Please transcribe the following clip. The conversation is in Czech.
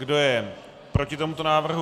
Kdo je proti tomuto návrhu?